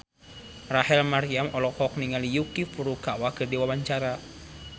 Rachel Maryam olohok ningali Yuki Furukawa keur diwawancara